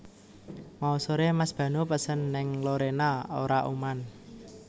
Mau sore Mas Banu pesen ning Lorena ora uman